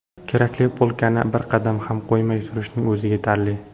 Kerakli polkani bir qadam ham qo‘ymay surishning o‘zi yetarli.